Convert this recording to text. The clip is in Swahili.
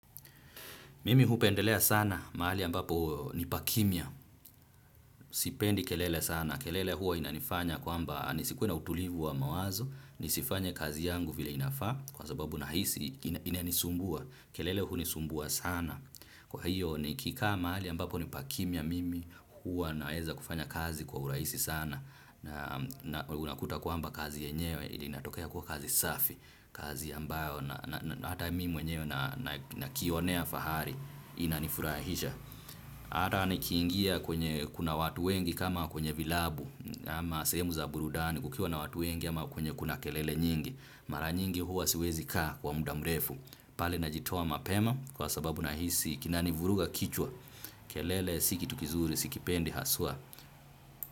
Mimi hupendelea sana mahali ambapo ni pakimya, sipendi kelele sana, kelele huaa inanifanya kwamba nisikuwe na utulivu wa mawazo, nisifanye kazi yangu vile inafaa kwa sababu nahisi inanisumbua, kelele hunisumbua sana. Kwahiyo nikikaa mahali ambapo ni pakimya mimi huwa naweza kufanya kazi kwa urahisi sana na unakuta kwamba kazi yenyewe inatokea kuwa kazi safi kazi ambayo na hata mimi yenyewe najionea fahari inanifurahisha. Hata nikiingia kwenye kuna watu wengi kama kwenye vilabu ama sehemu za burudani kukiwa na watu wengi ama kwenye kuna kelele nyingi. Mara nyingi huwa siwezi kaa kwa muda mrefu pale najitowa mapema kwa sababu nahisi kinanivuruga kichwa. Kelele si kitu kizuri sikipendi haswa.